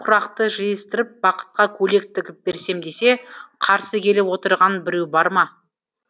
құрақты жиыстырып бақытқа көйлек тігіп берем десе қарсы келіп отырған біреу бар ма